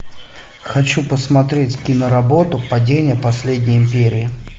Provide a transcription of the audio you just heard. хочу посмотреть киноработу падение последней империи